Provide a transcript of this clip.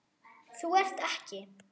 Þú ert ekki.